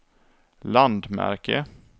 landmärke